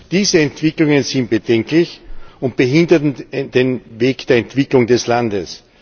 Diese Entwicklungen sind bedenklich und behindern den Weg der Entwicklung des Landes.